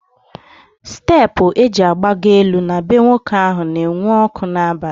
Steepụ eji agbagọ elu na bee nwoke ahụ na enwu ọkụ n'abalị